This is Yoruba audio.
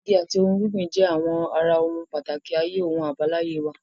Igi àti ohun gbígbìn jẹ́ àwọn ara ohun pàtàkì ayé ohun àbáláyé wa.